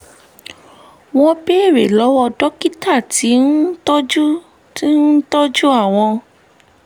wọ́n béèrè lọ́wọ́ dókítà tí ń tọ́jú ń tọ́jú àwọn